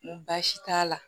N ko baasi t'a la